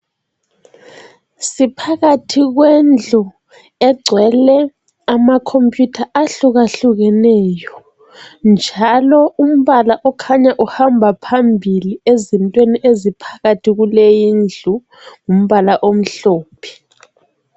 Siphakathi kwendlu egcwele amakhomphuyutha ahlukahlukeneyo. Njalo umbala okhanya uhamba phambili ezintweni eziphakathi kuleyindlu . Ngumbala omhlophe.